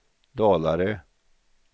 Dalarö